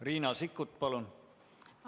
Riina Sikkut, palun!